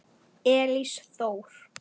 Elís Þór.